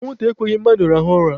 Anwụ nta ekweghị mmadụ rahụọ ụra.